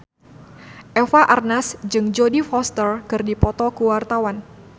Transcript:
Eva Arnaz jeung Jodie Foster keur dipoto ku wartawan